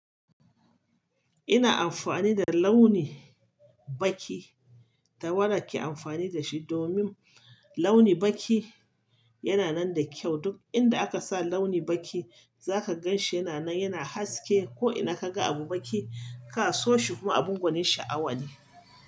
Ina amfani da launin baƙi ta wada ke amfani da shi domin launi baƙi yana nan da kyau. Duk inda aka sa launi baƙi, za ka gan shi yana nan, yana haske, ko ina ka ga abu baƙi ka so shi kuma abun gwanin sha'awa ne.